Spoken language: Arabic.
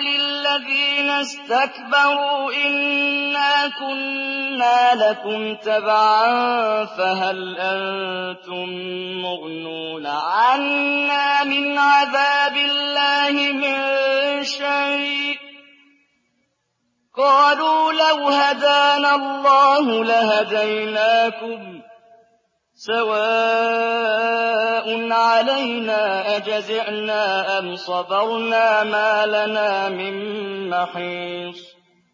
لِلَّذِينَ اسْتَكْبَرُوا إِنَّا كُنَّا لَكُمْ تَبَعًا فَهَلْ أَنتُم مُّغْنُونَ عَنَّا مِنْ عَذَابِ اللَّهِ مِن شَيْءٍ ۚ قَالُوا لَوْ هَدَانَا اللَّهُ لَهَدَيْنَاكُمْ ۖ سَوَاءٌ عَلَيْنَا أَجَزِعْنَا أَمْ صَبَرْنَا مَا لَنَا مِن مَّحِيصٍ